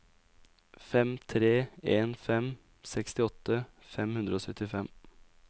fem tre en fem sekstiåtte fem hundre og syttifem